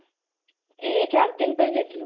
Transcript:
ଏଇ ଚାରିଦିନ ପାଇଁ ଯାଇଥିଲୁ